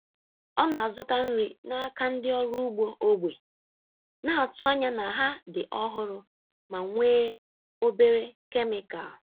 Ọ na-azụta nri n’aka ndị ọrụ ugbo ógbè, na-atụ anya na ha dị ọhụrụ ma nwee obere kemikal.